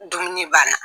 Dumuni banna